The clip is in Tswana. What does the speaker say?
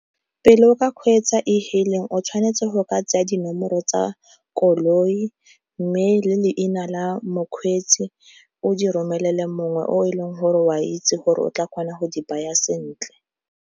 Pele o ka kgweetsa ehailing o tshwanetse go o ka tsenya dinomoro tsa koloi, mme le leina la mokgweetsi o di romelele mongwe o e leng gore o a itse gore o tla kgona go di baya sentle.